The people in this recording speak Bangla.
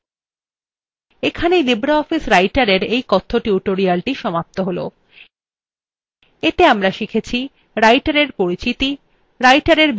এখানেই libreoffice writerএর এই কথ্য tutorialthe সমাপ্ত হল এতে আমরা শিখেছি